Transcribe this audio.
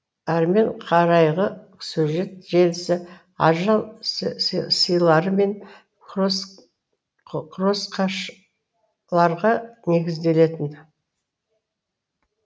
әрмен қарайғы сюжет желісі ажал сыйлары мен кросақшыларға негізделетін